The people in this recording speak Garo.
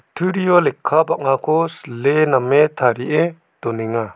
turio lekka bang·ako sile name tarie donenga.